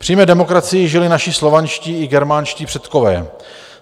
V přímé demokracii žili naši slovanští i germánští předkové.